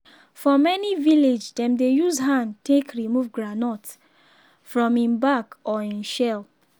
for many village dem dey use hand take remove groundnut from im bark or im shell.